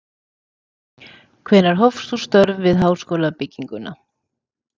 Hvenær hófst þú störf við háskólabygginguna